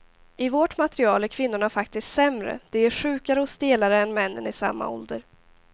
I vårt material är kvinnorna faktiskt sämre, de är sjukare och stelare än männen i samma ålder.